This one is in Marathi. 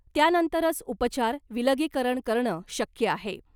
त्यानंतरच उपचार , विलगीकरण करणं शक्य आहे .